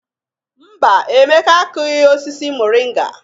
Mba, Emeka akụghị osisi moringa.